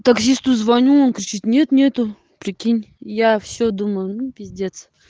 таксисту звоню он кричит нет нету прикинь я всё думаю ну пиздец